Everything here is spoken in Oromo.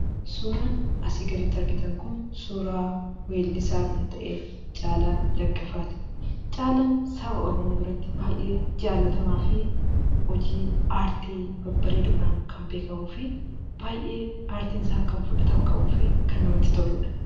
Suuraan asii gaditti argitan kun suuraa weellisaa kan ta’e Caalaa Daggafaati. Caalaan saba Oromoo biratti baay'ee jaallatamaa fi hojii aartii babbareedoodhaan kan beekamuu fi baay'ee aartiin isaa kan fudhatama qabuu fi kan namatti toludha.